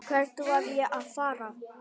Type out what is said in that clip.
Hvert var ég að fara?